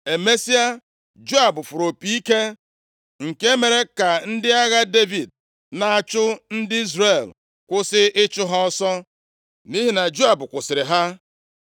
Emesịa, Joab fụrụ opi ike nke mere ka ndị agha Devid na-achụ ndị Izrel kwụsị ịchụ ha ọsọ, nʼihi na Joab kwụsịrị ha.